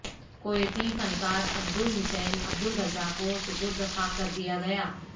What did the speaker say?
کویتی فنکار Abdul Hussain Abdul Raza کو سپرد خاک کردیا گیا